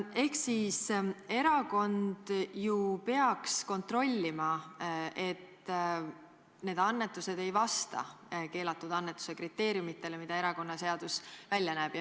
Ehk siis erakond peaks ju kontrollima, ega need annetused ei vasta keelatud annetuse kriteeriumidele, mis on erakonnaseadus ära toodud.